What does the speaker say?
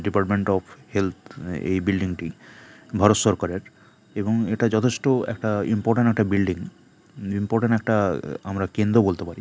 Department of health এই building -টি ভারত সরকারের এবং এটা যথেষ্ট একটা ইম্পোর্ট একটা বিল্ডিং ইম্পোর্ট একটা কেন্দ্র আমরা বলতে পারি ।